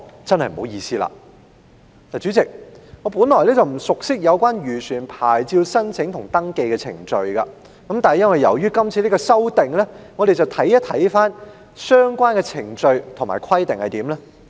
代理主席，我本來不熟悉漁船牌照的申請和登記程序，但由於提出了《條例草案》，我看了相關的程序和規定。